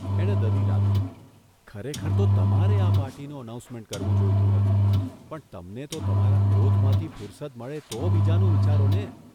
એણે દલીલ આદરી, ' ખરેખર તો તમારે આ પાર્ટીનું અનાઉન્સમેન્ટ કરવું જોઇતું હતું, પણ તમને તો તમારા ક્રોધમાંથી ફૂરસદ મળે તો બીજાનું વિચારોને!